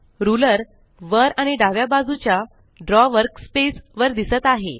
ruler वर आणि डाव्या बाजूच्या ड्रॉ वर्कस्पेस वर दिसत आहे